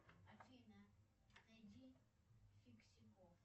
афина найди фиксиков